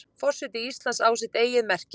Forseti Íslands á sitt eigið merki.